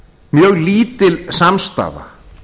mjög lítil samstaða